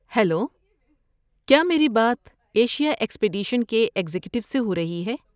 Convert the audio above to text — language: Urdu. ہیلو! کیا میری بات ایشیا ایکسپیڈیشن کے ایگزیکٹو سے ہو رہی ہے؟